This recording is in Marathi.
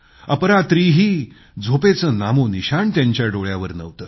अपरात्रीही झोपेचं नामोनिशाण त्यांच्या डोळ्यावर नव्हतं